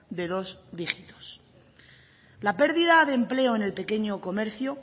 de dos dígitos la pérdida de empleo en el pequeño comercio